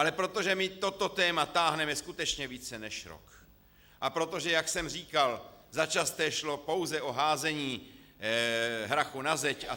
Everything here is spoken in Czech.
Ale protože my toto téma táhneme skutečně více než rok a protože, jak jsem říkal, začasté šlo pouze o házení hrachu na zeď atd.